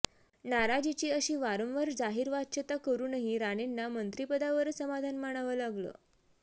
नाराजीची अशी वारंवार जाहीर वाच्यता करुनही राणेंना मंत्रीपदावरंच समाधान मानावं लागलं